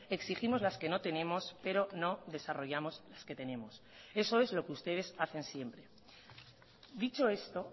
exigimos las que no tenemos pero no desarrollamos las que tenemos eso es lo que ustedes hacen siempre dicho esto